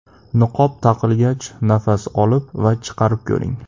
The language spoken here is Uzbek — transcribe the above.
Niqob taqilgach, nafas olib va chiqarib ko‘ring.